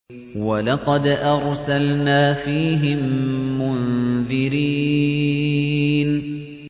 وَلَقَدْ أَرْسَلْنَا فِيهِم مُّنذِرِينَ